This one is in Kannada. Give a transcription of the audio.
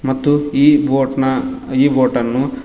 ಮತ್ತು ಈ ಬೋಟ್ ನ ಈ ಬೋಟನ್ನು--